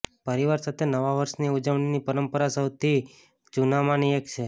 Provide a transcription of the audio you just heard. પરિવાર સાથે નવા વર્ષની ઉજવણીની પરંપરા સૌથી જૂનામાંની એક છે